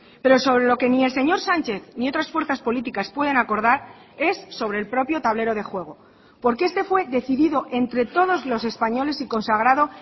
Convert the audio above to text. pero sobre lo que ni el señor sánchez ni otras fuerzas políticas pueden acordar es sobre el propio tablero de juego porque este fue decidido entre todos los españoles y consagrado